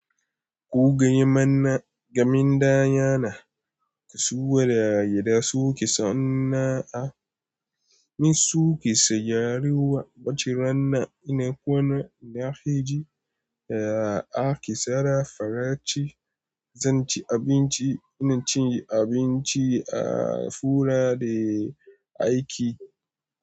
Ko gaya mana, gaminda yanayin kasuwa da yadda suke sau'nna, mi suke sayarwa baciranna ina kwanan nahiji, a akisara faraci, zan ci abinci, ina cinye abinci a fura da aiki.